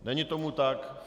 Není tomu tak.